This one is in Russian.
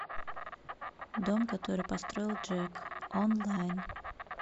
дом который построил джек онлайн